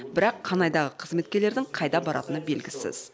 бірақ қанайдағы қызметкерлердің қайда баратыны белгісіз